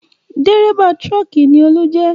Dérébà tírọ́kì ni Olú jẹ́